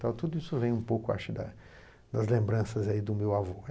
Então tudo isso vem um pouco acho da das lembranças aí do meu avô.